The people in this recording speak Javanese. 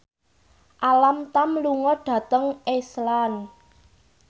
Alam Tam lunga dhateng Iceland